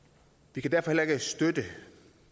vi kan derfor heller ikke støtte